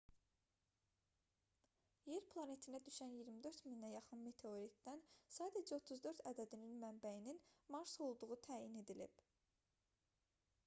yer planetinə düşən 24000-ə yaxın meteoritdən sadəcə 34 ədədinin mənbəyinin mars olduğu təyin edilib